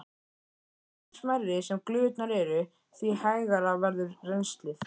Því smærri sem glufurnar eru, því hægara verður rennslið.